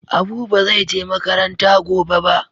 Abu ba zai je makaranta gobe ba.